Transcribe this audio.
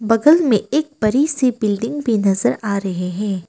बगल में एक बड़ी सी बिल्डिंग भी नजर आ रहे हैं।